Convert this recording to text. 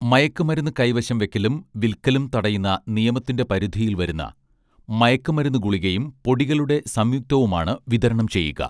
മയക്കുമരുന്ന് കൈവശം വയ്ക്കലും വിൽക്കലും തടയുന്ന നിയമത്തിന്റെ പരിധിയിൽ വരുന്ന മയക്കുമരുന്ന് ഗുളികയും പൊടികളുടെ സംയുക്തവുമാണ് വിതരണം ചെയ്യുക